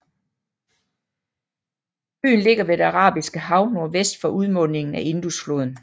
Byen ligger ved det Arabiske Hav nordvest for udmundingen af Indusfloden